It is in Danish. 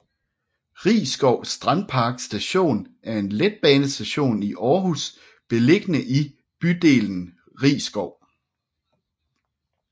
Risskov Strandpark Station er en letbanestation i Aarhus beliggende i bydelen Risskov